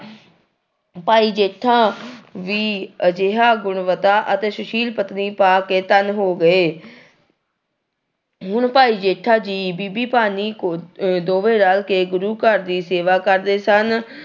ਭਾਈ ਜੇਠਾ ਵੀ ਅਜਿਹਾ ਗੁਣਵਤਾ ਅਤੇ ਸ਼ੁਸ਼ੀਲ ਪਤਨੀ ਪਾ ਕੇ ਧਨ ਹੋ ਗਏ ਹੁਣ ਭਾਈ ਜੇਠਾ ਜੀ ਬੀਬੀ ਭਾਨੀ ਕ ਅਹ ਦੋਵੇਂ ਰਲ ਕੇ ਗੁਰੂ ਘਰ ਦੀ ਸੇਵਾ ਕਰਦੇ ਸਨ